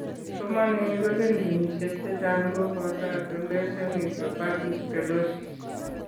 Kipsomaninik kolin ginishek chechang' ko boto adolescent idiopathic scoliosis.